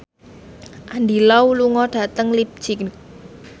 Andy Lau lunga dhateng leipzig